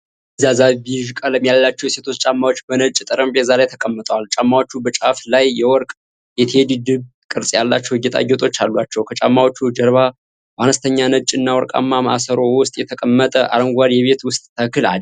ፈዛዛ ቢዥ ቀለም ያላቸው የሴቶች ጫማዎች በነጭ ጠረጴዛ ላይ ተቀምጠዋል። ጫማዎቹ በጫፍ ላይ የወርቅ የቴዲ ድብ ቅርጽ ያላቸው ጌጣጌጦች አሏቸው። ከጫማዎቹ ጀርባ በአነስተኛ ነጭ እና ወርቃማ ማሰሮ ውስጥ የተቀመጠ አረንጓዴ የቤት ውስጥ ተክል አለ፡፡